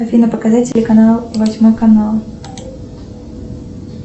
афина показать телеканал восьмой канал